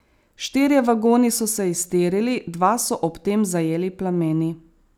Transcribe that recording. Štirje vagoni so se iztirili, dva so ob tem zajeli plameni.